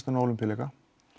inn á Ólympíuleika